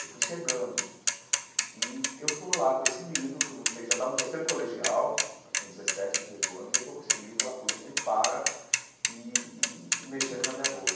Eu fui chegando e eu estou lá com esse livro, que eu não sei já estava no terceiro colegial, já com dezessete, dezoito anos, e eu estou com esse livro, a polícia me para e e mexendo na minha bolsa.